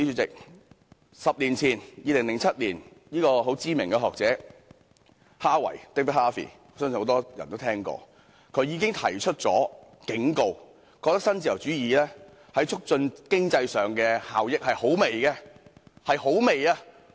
在10年前即2007年，相信很多人也聽過的知名學者哈維已提出警告，認為新自由主義在促進經濟方面的效益相當輕微。